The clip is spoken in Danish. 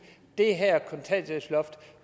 det her kontanthjælpsloft